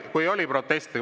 Kui oli protesti.